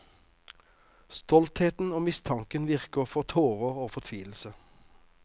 Stoltheten og mistanken viker for tårer og fortvilelse.